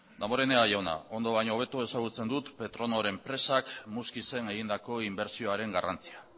damborenea jauna ondo baino hobeto ezagutzen dut petronor enpresak muskizen egindako inbertsioaren garrantzia